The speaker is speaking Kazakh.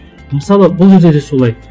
мысалы бұл кезде де солай